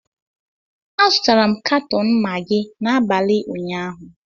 Azụtara m katọn Magị n'abalị ụnyaahụ